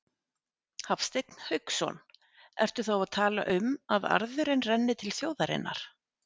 Hafsteinn Hauksson: Ertu þá að tala um að arðurinn renni til þjóðarinnar?